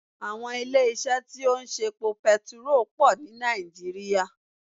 Àwọn ilé isé tí ó ń ṣe epo petiró pò ní Nàìjíríà